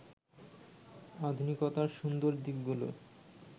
আধুনিকতার সুন্দর দিকগুলো